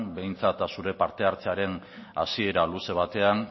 behintzat zure parte hartzearen hasiera luze batean